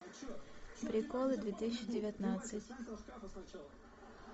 приколы две тысячи девятнадцать